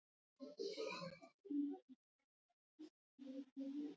Borg sem var innan þeirra yfirráðasvæðis.